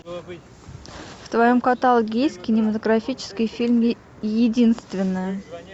в твоем каталоге есть кинематографический фильм единственная